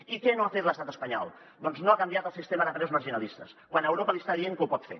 i què no ha fet l’estat espanyol doncs no ha canviat el sistema de preus marginalistes quan europa li està dient que ho pot fer